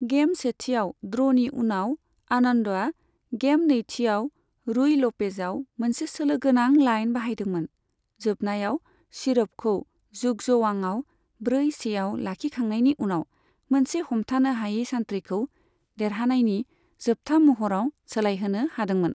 Game सेथिआव ड्र'नि उनाव, आनन्दआ गेम नैथिआव रुय ल'पेजआव मोनसे सोलोगोनां लाइन बाहायदोंमोन, जोबनायाव शिरभखौ जुग्ज'वांआव ब्रै सेआव लाखिखांनायनि उनाव मोनसे हमथानो हायै सानथ्रिखौ देरहानायनि जोबथा महराव सोलायहोनो हादोंमोन।